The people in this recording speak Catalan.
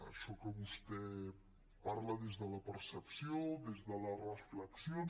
això que vostè parla des de la percepció des de les reflexions